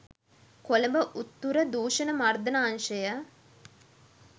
කොළඹ උතුර දූෂණ මර්දන අංශය